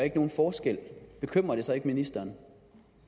nogen forskel bekymrer det så ikke ministeren